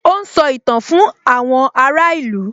Ó ń sọ ìtàn fún àwọn ará ìlú